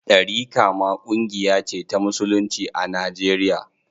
Ɗariƙa ma ƙungiya ce ta musulunci a Najeriya.